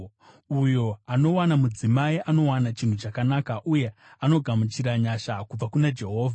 Uyo anowana mudzimai anowana chinhu chakanaka, uye anogamuchira nyasha kubva kuna Jehovha.